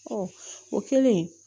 o kɛlen